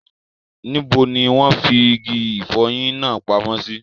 Níbo ni wọ́n fi igi ìfọyín náà pamọ́ sí?